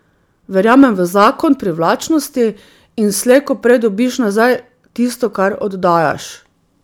Verjamem v zakon privlačnosti in slej ko prej dobiš nazaj tisto, kar oddajaš.